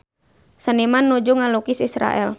Seniman nuju ngalukis Israel